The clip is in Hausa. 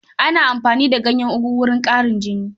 Ana amfani da ganyen ogono wajen ƙarin jini.